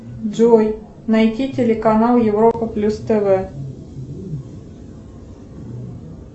джой найди телеканал европа плюс тв